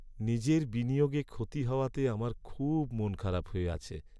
নিজের বিনিয়োগে ক্ষতি হওয়াতে আমার খুব মনখারাপ হয়ে আছে।